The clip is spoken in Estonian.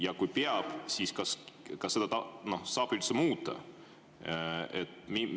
Ja kui peab, siis kas seda saab üldse muuta?